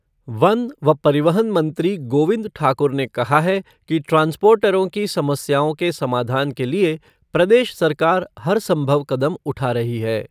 One व परिवहन मंत्री गोविंद ठाकुर ने कहा है कि ट्रांसपोर्टरों की समस्याओं के समाधान के लिए प्रदेश सरकार हर सम्भव कदम उठा रही है।